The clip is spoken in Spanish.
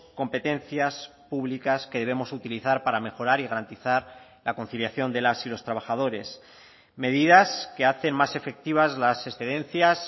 competencias públicas que debemos utilizar para mejorar y garantizar la conciliación de las y los trabajadores medidas que hacen más efectivas las excedencias